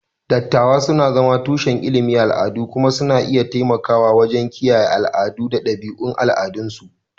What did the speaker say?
Dattawa suna zama tushen ilimin al'adu kuma suna iya taimakawa wajen kiyaye al'adu da ɗabi'un al'adunsu.